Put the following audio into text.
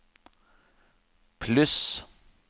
pluss